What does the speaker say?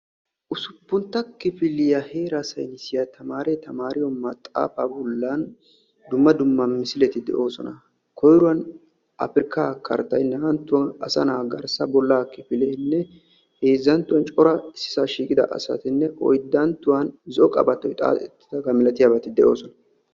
Usuppuntta kifiliya heeraa saynisiya tamaaree tamaariyo maxaafaa bollan dumma dumma misileti de'oosona. Koyruwan afrikkaa karttay, naa"anttuwan asanaa garssa bollaa kifileenne heezzanttuwan cora issisaa shiiqida asatinne oyddanttuwan zo'o qabattoy xaaxettidaba milatiyabaeti de'oosona.